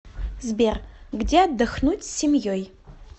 сбер где отдохнуть с семьей